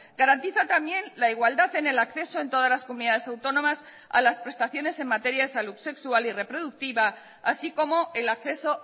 garantiza también la igualdad en el acceso en todas las comunidades autónomas a las prestaciones en materia de salud sexual y reproductiva así como el acceso